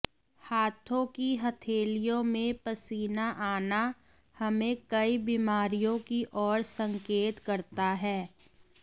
हाथों की हथेलियों में पसीना आना हमें कई बीमारियों की ओर संकेत करता है